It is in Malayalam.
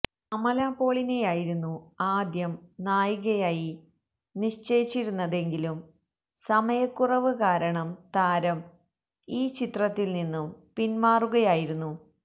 അമല പോളിനെയായിരുന്നു ആദ്യം നായികയായി നിശ്ചയിച്ചിരുന്നതെങ്കിലും സമയക്കുറവ് കാരണം താരം ഈ ചിത്രത്തില് നിന്നും പിന്മാറുകയായിരുന്നു